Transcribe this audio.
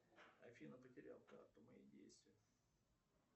афина потерял карту мои действия